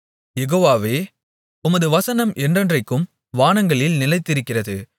யெகோவாவே உமது வசனம் என்றென்றைக்கும் வானங்களில் நிலைத்திருக்கிறது